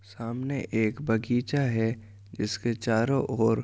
सामने एक बगीचा है इसके चारों ओर --